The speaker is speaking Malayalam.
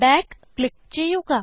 ബാക്ക് ക്ലിക്ക് ചെയ്യുക